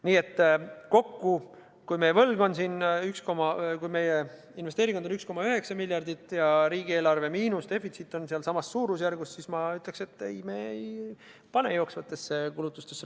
Nii et kui meie investeeringud on 1,9 miljardit ja riigieelarve defitsiit on sellessamas suurusjärgus, siis ma ütleksin, et ei, me ei pane raha jooksvatesse kulutustesse.